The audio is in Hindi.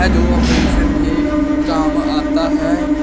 जो ऑपरेशन के काम आता है।